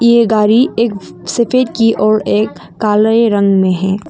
ये गारी एक सफेद की और एक काले रंग में है।